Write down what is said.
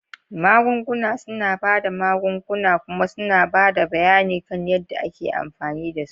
Magunguna suna ba da magunguna kuma suna ba da bayani kan yadda ake amfani da su.